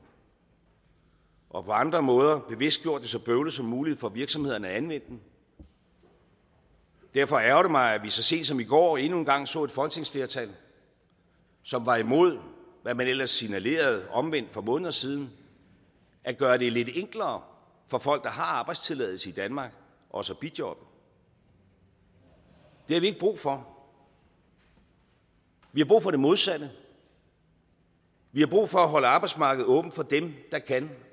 og på andre måder bevidst gjort det så bøvlet som muligt for virksomhederne at anvende den derfor ærgrer det mig at vi så sent som i går endnu en gang så et folketingsflertal som var imod hvad man ellers signalerede omvendt for måneder siden at gøre det lidt enklere for folk der har arbejdstilladelse i danmark også at bijobbe det har vi ikke brug for vi har brug for det modsatte vi har brug for at holde arbejdsmarkedet åbent for dem der kan